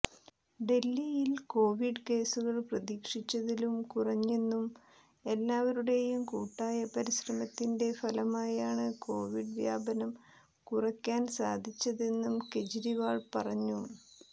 ഡൽഹിയിൽ കൊവിഡ് കേസുകൾ പ്രതീക്ഷിച്ചതിലും കുറഞ്ഞെന്നും എല്ലാവരുടെയും കൂട്ടായ പരിശ്രമത്തിന്റെ ഫലമായാണ് കൊവിഡ് വ്യാപനം കുറക്കാൻ സാധിച്ചതെന്നും കെജ്രീവാൾ പറഞ്ഞു